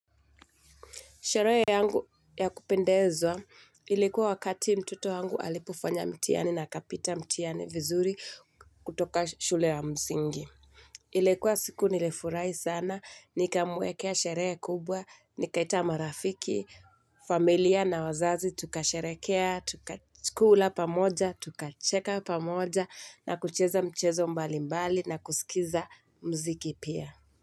Sherehe yangu ya kupendezwa ilikuwa wakati mtoto wangu alipofanya mtihani na akapita mtihani vizuri kutoka shule ya msingi. Ilikuwa siku nilifurahi sana, nikamwekea sherehe kubwa, nikaita marafiki, familia na wazazi tukasherekea, tukakula pamoja, tukacheka pamoja na kucheza mchezo mbalimbali na kusilikiza mziki pia.